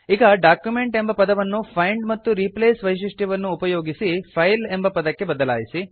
ಈಗ ಡಾಕ್ಯುಮೆಂಟ್ ಎಂಬ ಪದವನ್ನು ಫೈಂಡ್ ಮತ್ತು ರೀಪ್ಲೇಸ್ ವೈಶಿಷ್ಟ್ಯವನ್ನುಪಯೋಗಿಸಿ ಫೈಲ್ ಎಂಬ ಪದಕ್ಕೆ ಬದಲಾಯಿಸಿ